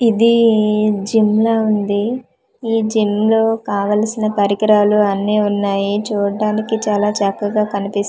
ఇదీ జిమ్ లా వుంది ఈ జిమ్ లో కావలసిన పరికరాలు అన్నీ వున్నాయి చూడ్డానికి చాలా చక్కగా కన్పిస్తూ వుంది.